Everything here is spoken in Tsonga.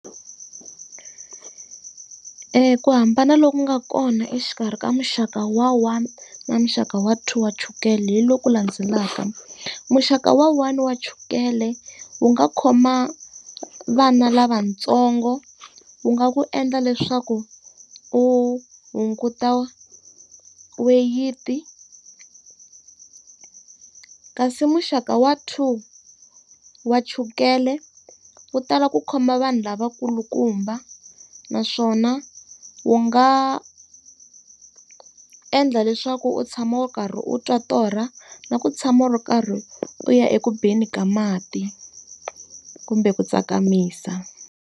Ku hambana loku nga kona exikarhi ka muxaka wa one na muxaka wa two wa chukele hi loku landzelaka. Muxaka wa one wa chukele, wu nga khoma vana lavatsongo, wu nga ku endla leswaku u hunguta weyiti. Kasi muxaka wa two wa chukele, wu tala ku khoma vanhu lavakulukumba. Naswona wu nga endla leswaku u tshama u karhi u twa torha, na ku tshama u ri karhi u ya eku beni ka mati kumbe ku tsakamisa.